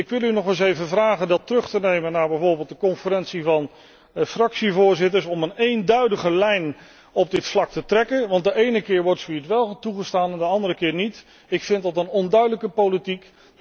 Ik wil u nog eens vragen dat voor te leggen aan bijvoorbeeld de Conferentie van fractievoorzitters om een eenduidige lijn op dit vlak te trekken, want de ene keer wordt zoiets wel toegestaan en de andere keer niet. Ik vind dat een onduidelijke politiek.